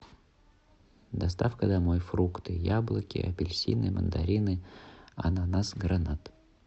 доставка домой фрукты яблоки апельсины мандарины ананасы гранат